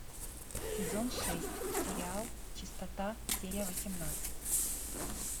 сезон шесть сериал чистота серия восемнадцать